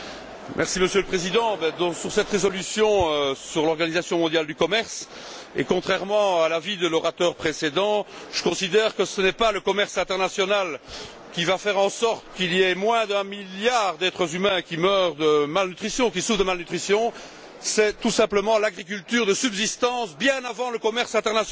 Monsieur le Président, concernant cette résolution sur l'Organisation mondiale du commerce, et contrairement à l'avis de l'orateur précédent, je considère que ce n'est pas le commerce international qui va faire en sorte qu'il y ait moins d'un milliard d'êtres humains qui meurent de malnutrition ou qui en souffrent, mais plutôt l'agriculture de subsistance, bien avant le commerce international.